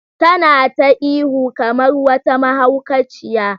Tana ta ihu kamar wata mahaukaciya.